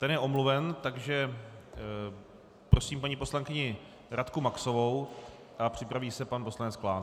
Ten je omluven, takže prosím paní poslankyni Radku Maxovou a připraví se pan poslanec Klán.